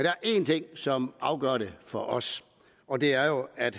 er en ting som afgør det for os og det er jo at